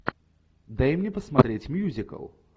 дай мне посмотреть мюзикл